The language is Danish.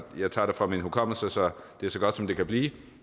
jeg tager det fra min hukommelse så det er så godt som det kan blive